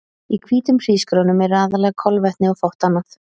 Í hvítum hrísgrjónum eru aðallega kolvetni og fátt annað.